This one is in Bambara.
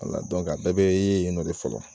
Wala dɔnku a bɛɛ be ye yen nɔ de fɔlɔ.